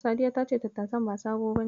Sadiya ta ce tattasan ba sabo bane.